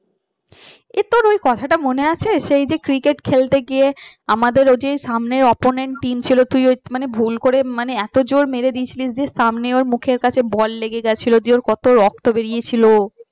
এ তোর ঐ কথাটা মনে আছে সে যে cricket খেলতে গিয়ে আমাদের ওই যে সামনে team ছিল তুই ভুল করে এত জোর মেরে দিয়েছিলিস সামনে ওই মুখের কাছে বল লেগে গেছিল দিয়ে ওর কত রক্ত বেরিয়েছিল